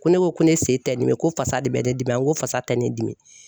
Ko ne ko ko ne sen tɛ dimi ko fasa de bɛ ne dimi n ko fasa tɛ ne dimi.